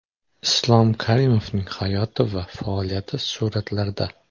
Islom Karimovning hayoti va faoliyati suratlarda.